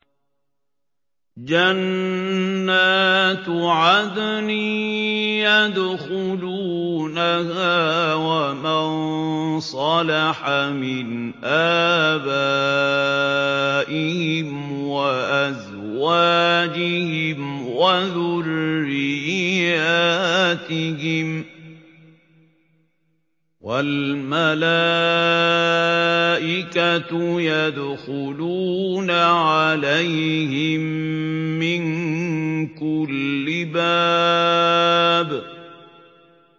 جَنَّاتُ عَدْنٍ يَدْخُلُونَهَا وَمَن صَلَحَ مِنْ آبَائِهِمْ وَأَزْوَاجِهِمْ وَذُرِّيَّاتِهِمْ ۖ وَالْمَلَائِكَةُ يَدْخُلُونَ عَلَيْهِم مِّن كُلِّ بَابٍ